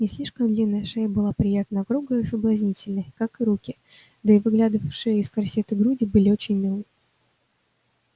не слишком длинная шея была приятно округлой и соблазнительной как и руки да и выглядывавшие из корсета груди были очень милы